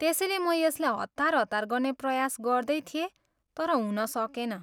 त्यसैले म यसलाई हतार हतार गर्ने प्रयास गर्दै थिएँ तर हुन सकेन।